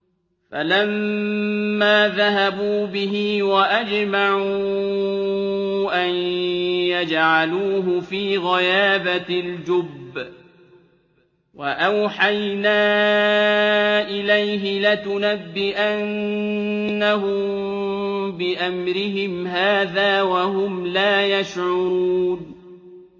فَلَمَّا ذَهَبُوا بِهِ وَأَجْمَعُوا أَن يَجْعَلُوهُ فِي غَيَابَتِ الْجُبِّ ۚ وَأَوْحَيْنَا إِلَيْهِ لَتُنَبِّئَنَّهُم بِأَمْرِهِمْ هَٰذَا وَهُمْ لَا يَشْعُرُونَ